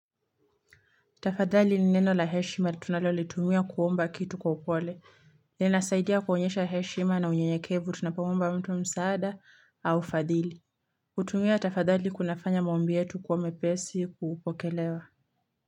Tafadhali ni neno la heshima tunalo litumia kuomba kitu kwa upole. Linasaidia kuonyesha heshima na unyenyekevu tunapoomba mtu msaada au fadhili. Kutumia tafadhali kunafanya maombi yetu kuwa mepesi kupokelewa.